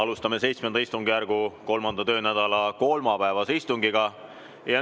Alustame VII istungjärgu 3. töönädala kolmapäevast istungit.